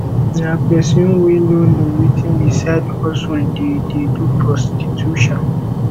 na person wey no know wetin be side hustle dey dey do prostitution